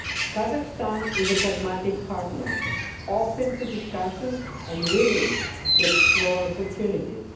Kazakhstan is a pragmatic partner, open to discussions and willing to explore opportunities.